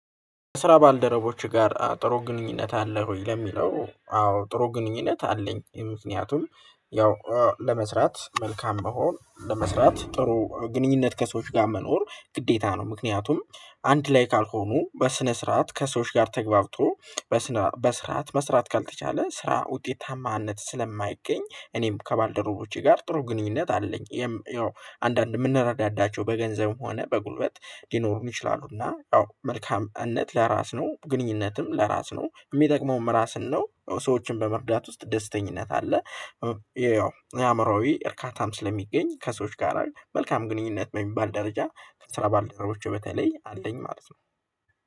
ስራ ባልደረቦች ጋር ጥሩ ግንኙነት አለህ ወይ? ለሚለው አዎ ጥሩ ግንኙነት አለኝ ምክንያቱም ያው ለመስራት መልካም መሆን ለመስራት ጥሩ ግንኙነት ከሰዎች ጋር መኖር ግዴታ ነው። ምክንያቱም አንድ ላይ ካልሆኑ በስነ ስርዓት ከሰዎች ጋር ተግባብቶ በስነ በስርዓት መስራት ካልተቻለ ስራ ውጤታማነት ስለማይገኝ እኔም ከባልደረቦቼ ጋር ጥሩ ግንኙነት አለኝ። ያው አንዳንድ የምንረዳዳቸው በገንዘብም ሆነ በጉልበት ሊኖሩን ይችላሉና ያው መልካምነት ለራስ ነው ግንኙነትም ለራስ ነው የሚጠቅመውም ራስን ነው ሰዎችን በመርዳት ውስጥ ደስተኝነት አለ። ያው አእምሮዬ እርካታም ስለሚገኝ ከሰዎች ጋር መልካም ግንኙነት በሚባል ደረጃ ከስራ ባልደረቦቹ በተለይ አለኝ ማለት ነው